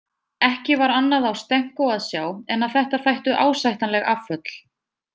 Ekki var annað á Stenko að sjá en að þetta þættu ásættanleg afföll.